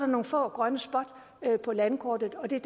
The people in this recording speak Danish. nogle få grønne spots på landkortet og det er